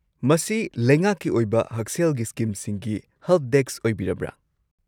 ꯃꯁꯤ ꯂꯩꯉꯥꯛꯀꯤ ꯑꯣꯏꯕ ꯍꯛꯁꯦꯜꯒꯤ ꯁ꯭ꯀꯤꯝꯁꯤꯡꯒꯤ ꯍꯦꯜꯞꯗꯦꯁꯛ ꯑꯣꯏꯕꯤꯔꯕ꯭ꯔꯥ?